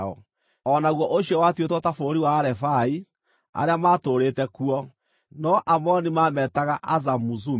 (O naguo ũcio watuĩtwo ta bũrũri wa Arefai, arĩa matũũrĩte kuo, no Aamoni maametaga Azamuzumi.